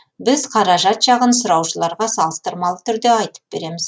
біз қаражат жағын сұраушыларға салыстырмалы түрде айтып береміз